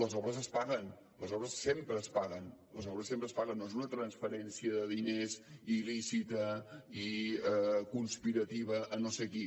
les obres es paguen les obres sempre es paguen les obres sempre es paguen no és una transferència de diners il·lícita i conspirativa a no sé qui